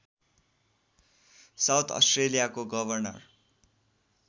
south अस्ट्रेलियाको governor